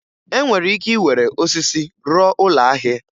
E nwere ike iwere osisi rụọ ụlọ ahịa.